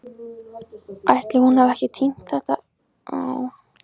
Ætli hún hafi ekki týnst í pósti?